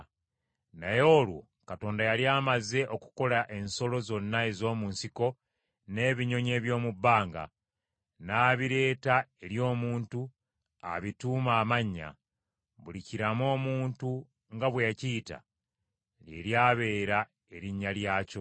Naye olwo Mukama Katonda yali amaze okukola ensolo zonna ez’omu nsiko n’ebinyonyi eby’omu bbanga. N’abireeta eri omuntu abituume amannya. Buli kiramu omuntu nga bwe yakiyita, lye lyabeera erinnya lyakyo.